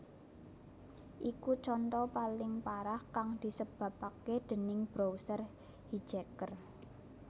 Iku conto paling parah kang disebapaké déning browser hijacker